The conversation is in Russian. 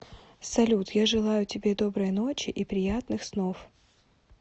салют я желаю тебе доброй ночи и приятных снов